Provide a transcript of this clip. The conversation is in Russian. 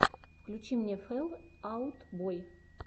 включи мне фэл аут бой